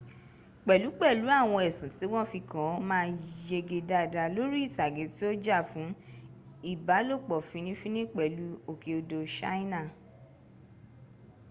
pẹ̀lú pẹ̀lú àwọn ẹ̀sùn tí wọ́n fi kan an ma yege dada lori itage ti o já fún ìbálòpọ̀ fini fini pẹ̀lú òkè odò ṣáínà